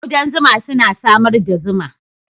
Ƙudan zuma suna samar da zuma